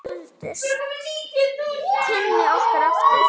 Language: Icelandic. Þá efldust kynni okkar aftur.